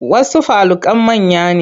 Wasu falukan manya ne.